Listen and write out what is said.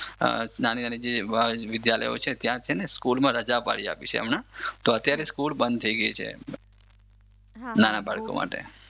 નાની નાની જે વિધ્યાલયો છે ત્યાં છે ને રજા પડીયાપી છે હમણાં તો અત્યારે સ્કૂલ બંધ થઈ ગઈ છે નાના બાળકો માટે.